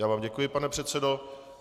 Já vám děkuji, pane předsedo.